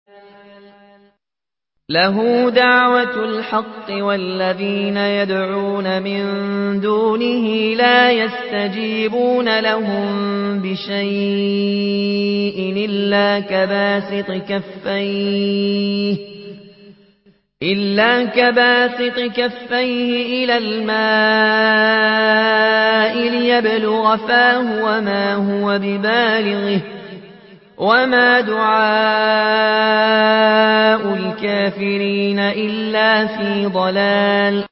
لَهُ دَعْوَةُ الْحَقِّ ۖ وَالَّذِينَ يَدْعُونَ مِن دُونِهِ لَا يَسْتَجِيبُونَ لَهُم بِشَيْءٍ إِلَّا كَبَاسِطِ كَفَّيْهِ إِلَى الْمَاءِ لِيَبْلُغَ فَاهُ وَمَا هُوَ بِبَالِغِهِ ۚ وَمَا دُعَاءُ الْكَافِرِينَ إِلَّا فِي ضَلَالٍ